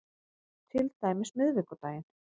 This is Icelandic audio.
Til dæmis miðvikudaginn